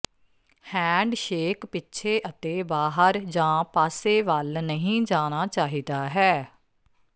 handshake ਪਿੱਛੇ ਅਤੇ ਬਾਹਰ ਜਾਂ ਪਾਸੇ ਵੱਲ ਨਹੀਂ ਜਾਣਾ ਚਾਹੀਦਾ ਹੈ